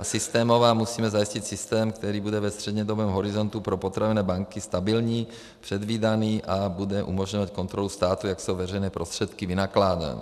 A systémová - musíme zajistit systém, který bude ve střednědobém horizontu pro potravinové banky stabilní, předvídaný a bude umožňovat kontrolu státu, jak jsou veřejné prostředky vynakládány.